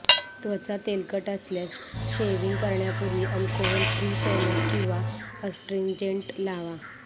त्वचा तेलकट असल्यास शेव्हींग करण्यापूर्वी अल्कोहोल फ्री टोनर किंवा अस्ट्रींजेंट लावा